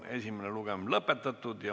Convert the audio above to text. Esimene lugemine on lõppenud.